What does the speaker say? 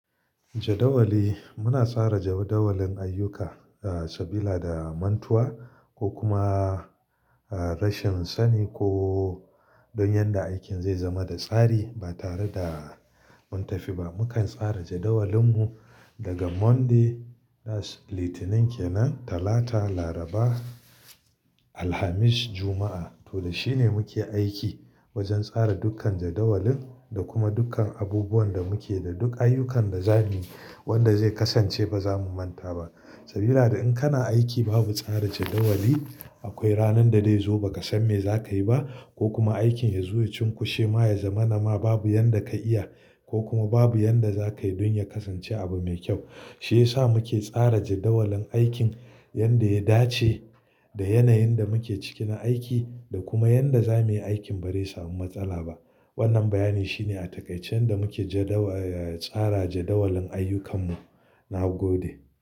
Jadawali, muna tsara jadawalin ayyuka, sabila da mantuwa ko kuma rashin sani ko don yadda aikin zai zama da tsari ba tare da mun tafi ba. Mukan tsara jadawalin mu daga Monday, that's Litinin, kenan Talata, Laraba, Alhamis, Juma'a. To da shine muke aiki wajen tsara dukkan jadawalin da kuma dukkan abubuwan da muke da duk ayyukan da zamuyi wanda zai kasance ba za mu manta ba. Sabila da in kana aiki babu tsara jadawali, akwai ranar da zai zo ba ka san me za ka yi ba, ko kuma aikin ya zuwa cunkoshe ma ya zama nama babu yadda ka iya, ko kuma babu yadda za ka yi don ya kasance abu mai kyau. Shi ya sa muke tsara jadawalin aikin yadda ya dace da yanayin da muke ciki na aiki da kuma yadda zamuyi aikin ba zai samu matsala ba. Wannan bayani shine a takaice yadda muke jadawa, eh tsara jadawalin ayyukan mu. Na gode.